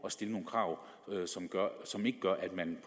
at stille nogle krav som ikke gør at man